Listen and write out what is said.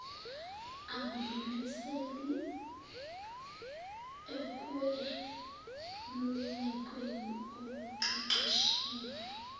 akudlulisele ekwelulekweni okuqeqeshelwe